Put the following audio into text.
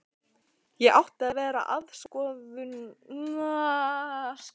Ég átti að vera aðstoðarkona hans.